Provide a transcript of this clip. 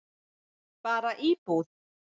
Bara íbúð.